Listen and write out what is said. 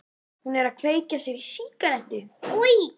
Hún er að kveikja sér í sígarettu.